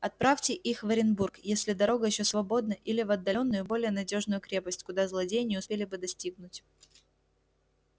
отправьте их в оренбург если дорога ещё свободна или в отдалённую более надёжную крепость куда злодеи не успели бы достигнуть